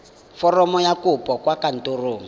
foromo ya kopo kwa kantorong